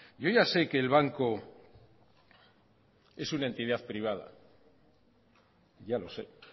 yo ya sé que el banco es una entidad privada ya lo sé